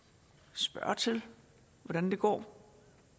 spørge til hvordan det går